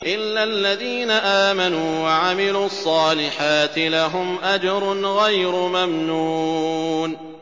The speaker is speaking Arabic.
إِلَّا الَّذِينَ آمَنُوا وَعَمِلُوا الصَّالِحَاتِ لَهُمْ أَجْرٌ غَيْرُ مَمْنُونٍ